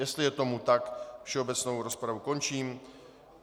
Jestli je tomu tak, všeobecnou rozpravu končím.